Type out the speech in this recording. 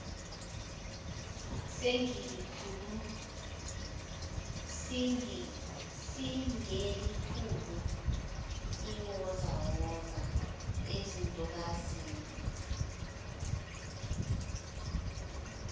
singelikhulu iwozawoza ezintokazini